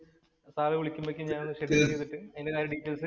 sir വിളിക്കുമ്പോഴത്തേനും ഞാന്‍ ഒന്ന് ഷെഡ്യൂള്‍ ചെയ്തിട്ട് അതിന്‍റെതായ ഡീറ്റയില്‍സ്